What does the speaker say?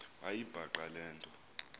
wayibhaqa le nto